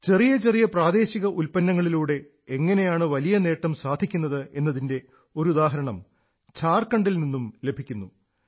ചെറിയ ചെറിയ പ്രാദേശിക ഉത്പന്നങ്ങളിലൂടെ എങ്ങനെയാണ് വലിയ നേട്ടം സാധിക്കുന്നത് എന്നതിന്റെ ഒരു ഉദാഹരണം ഝാർഖണ്ഡിൽ നിന്നും ലഭിക്കുന്നു